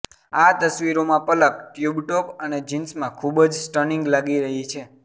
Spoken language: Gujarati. આ તસવીરોમાં પલક ટ્યુબ ટોપ અને જીન્સમાં ખૂબજ સ્ટનિંગ લાગી રહી છે